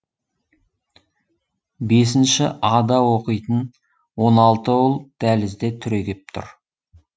бесінше а да оқитын он алты ұл дәлізде түрегеп тұр